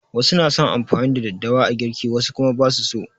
Wasu na son amfani da daddawa a girki wasu kuma ba su so.